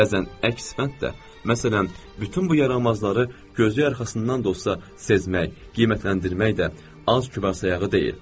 Amma bəzən əks fənn də, məsələn, bütün bu yaramazları gözü arxasından dostca sezmək, qiymətləndirmək də az kübar sayağı deyil.